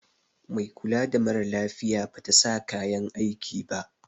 Mai kula da mara lafiya Bata sa kayan aiki ba.